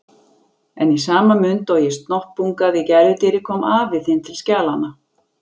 En í sama mund og ég snoppungaði gæludýrið kom afi þinn til skjalanna.